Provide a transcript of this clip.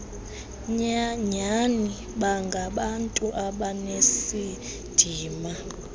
nyani bangabantu abanesidima